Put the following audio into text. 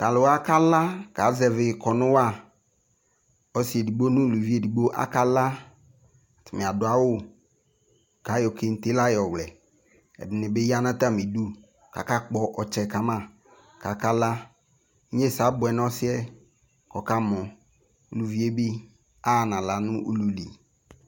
talʋ wa kala kazɛvi kɔnʋ wa, ɔsii ɛdigbɔ nʋ ʋlʋvi ɛdigbɔ akala atami adʋ awʋ kʋ ayɔ kɛntɛ la yɔ wlɛ, ɛdini bi yanʋ atami idʋ kʋ aka kpɔ ɔtsɛ kama kʋ aka la, inyɛnsɛ abʋɛ nʋ ɔsiiɛ kʋ ɔkamɔ, ʋviɛ bi aha nʋ ala nʋ ʋlʋ li